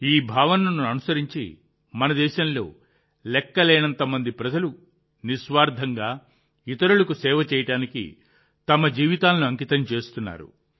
ఈ భావనను అనుసరించి మన దేశంలో లెక్కలేనంత మంది ప్రజలు నిస్వార్థంగా ఇతరులకు సేవ చేయడానికి తమ జీవితాలను అంకితం చేస్తున్నారు